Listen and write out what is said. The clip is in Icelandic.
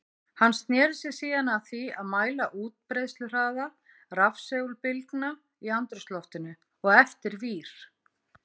Hann sneri sér síðan að því að mæla útbreiðsluhraða rafsegulbylgna í andrúmsloftinu og eftir vír.